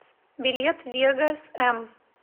билет вегос м